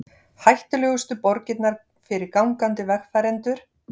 Hættulegustu borgirnar fyrir gangandi vegfarendur